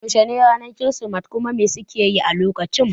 Yaushe ne ake yin kirismeti kuma me suke yi a lokacin?